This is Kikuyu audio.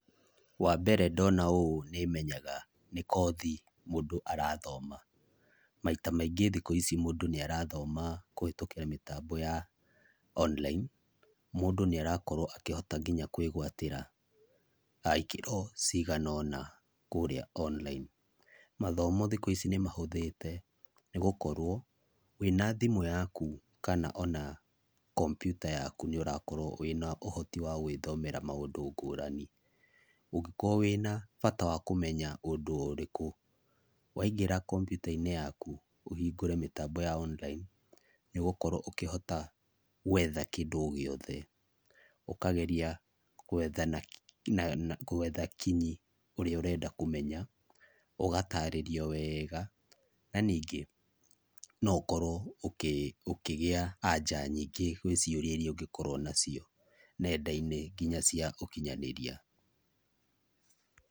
Wa mbere ndona ũũ nĩ menyaga nĩ kothi mũndũ arathoma. Maita maingĩ thikũ ici mũndũ nĩ arathoma kũhĩtũkĩra mĩtambo ya online. Mũndũ nĩ arakorwo akĩhota nginya kwĩgwatĩra ikĩro cigana ũna kũrĩa online. Mathomo thikũ ici nĩ mahũthĩte nĩgũkorwo wĩna thimũ yaku ona kana kombBiuta yaku nĩũrakorwo wĩna ũhoti wa gwĩthomera maũndũ ngũrani. Ũngĩkorwo wĩna bata wa kũmenya ũndũ ona ũrĩkũ waingĩra kombiutainĩ yaku ũhingũre mĩtambo ya online, nĩũgũkorwo ũkĩhota gwetha kĩndũ o gĩothe ũkageria gwetha kinyi ũrĩa ũrenda kũmenya, ũgatarĩrio wega na ningĩ no ũkorwo ũkĩgĩa anja nyingĩ gwĩ ciũria iria ũngĩkorwo nacio nendainĩ nginya cia ũkinyanĩria.